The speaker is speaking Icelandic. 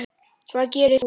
Hvað gerðir þú?